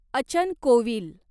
अचन कोविल